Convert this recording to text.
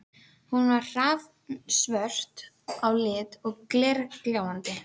Hún er hrafnsvört á lit og glergljáandi.